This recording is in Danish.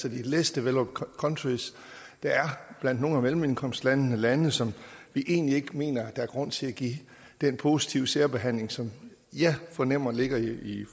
less developed countries der er blandt nogle af mellemindkomstlandene lande som vi egentlig ikke mener der er grund til at give den positive særbehandling som jeg fornemmer ligger i